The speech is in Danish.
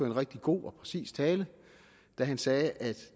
en rigtig god og præcis tale da han sagde at